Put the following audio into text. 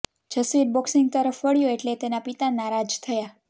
Jasvir boxing તરફ વળ્યો એટલે તેના પિતા નારાજ થયા